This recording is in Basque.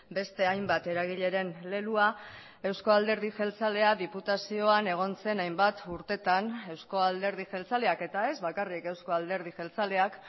beste hainbat eragileren leloa eusko alderdi jeltzalea diputazioan egon zen hainbat urtetan eusko alderdi jeltzaleak eta ez bakarrik eusko alderdi jeltzaleak